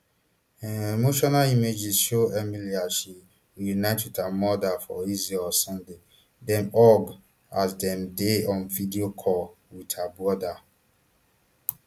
um emotional images show emily as she reunite wit her mother for israel on sunday dem hug as dem dey on video call wit her brother